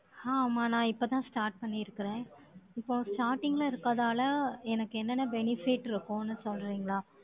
ஹாமா, நான், இப்பதான், start பண்ணியிருக்கறேன். இப்போ starting ல இருக்கதால, எனக்கு என்னென்ன benefit இருக்கும்னு சொல்றீங்களா?